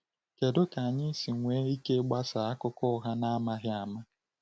Kedu ka anyị si enwe ike ịgbasa akụkọ ụgha n’amaghị ama?